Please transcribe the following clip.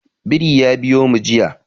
Biri ya biyo mu jiya.